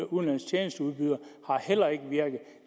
udenlandske tjenesteudbydere har heller ikke virket